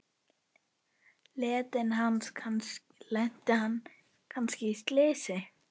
Lenti hann kannski í slysi?